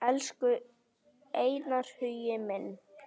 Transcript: Elsku Einar Hugi minn.